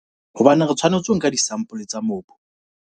Hobaneng re tshwanetse ho nka disampole tsa mobu?